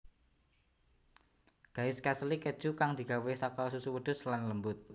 Gaiskasli Keju kang digawé saka susu wedhus lan lembut